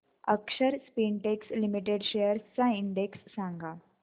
अक्षर Spintex limited shares चा index सांगा